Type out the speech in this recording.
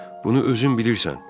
Bunu özün bilirsən.